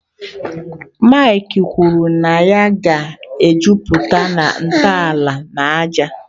Mike kwuru na ya ga-ejupụta na ntọala na ájá.